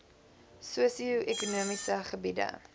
sosio ekonomiese gebiede